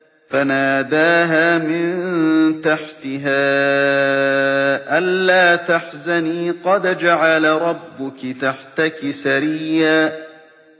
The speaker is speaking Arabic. فَنَادَاهَا مِن تَحْتِهَا أَلَّا تَحْزَنِي قَدْ جَعَلَ رَبُّكِ تَحْتَكِ سَرِيًّا